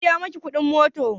Waya biya miki kudin mota?